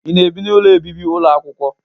Ị na-ebi n'ụlọ obibi ụlọ akwụkwọ?